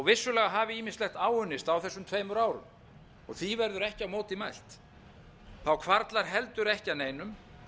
vissulega hafi ýmislegt áunnist á þessum tveimur árum og því verður ekki á móti mælt hvarflar heldur ekki að neinum